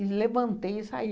levantei e saí.